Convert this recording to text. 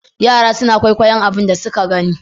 Yara suna kwaikwayon abun da suna gani.